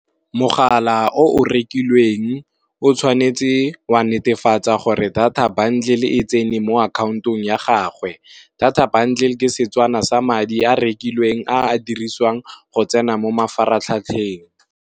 Mogala o o rekilweng o tshwanetse wa netefatsa gore data bundle e tsene mo akhaontong ya gagwe, data bundle ke setswana sa madi a rekilweng a a dirisiwang go tsena mo mafaratlhatlheng.